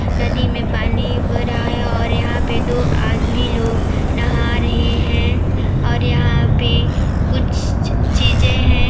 नदी में पानी भरा है और यहाँ पर दो आदमी लोग नाहा रहे है और यहाँ पर कुछ चीजें हैं।